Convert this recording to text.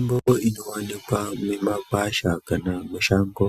Mutbo inowanikwa mumakwasha kana mushango